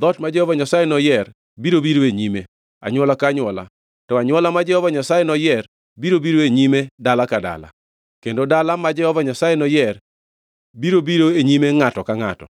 Dhoot ma Jehova Nyasaye noyier biro biro e nyime anywola ka anywola, to anywola ma Jehova Nyasaye noyier biro biro e nyime dala ka dala, kendo dala ma Jehova Nyasaye noyier biro biro e nyime ngʼato ka ngʼato.